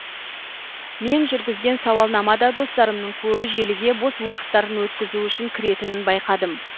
мен жүргізген сауалнама да достарымның көбі желіге бос уақыттарын өткізу үшін кіретінін байқадым